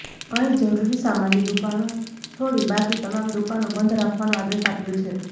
અહીં જરૂરી સામાનની દુકાનો છોડી બાકી તમામ દુકાનો બંધ રાખવાનો આદેશ આપ્યો છે